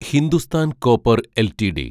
Hindustan copper LTD